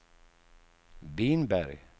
Vinberg